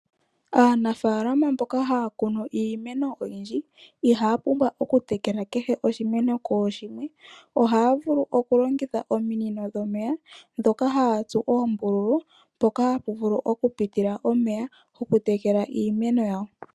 Aanafaalama mboka haya kunu iimeno oyindji ihaya pumbwa okutekela kehe oshimeno kooshimwe. Ohaya vulu okulongitha ominino dhomeya ndhoka haya tsu oombululu mpoka hapu vulu okupitila omeya okutekela iimeno yawo.